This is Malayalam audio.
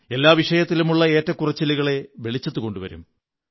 എല്ലാ വിഷയത്തിലുമുള്ള ഏറ്റക്കുറച്ചിലുകളെ വെളിച്ചത്തു കൊണ്ടുവരും